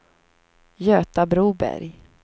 Göta Broberg